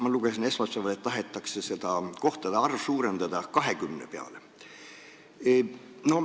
Ma lugesin esmaspäeval, et nüüd tahetakse kohtade arvu suurendada 20-le.